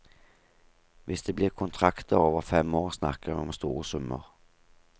Hvis det blir kontrakter over fem år, snakker vi om store summer.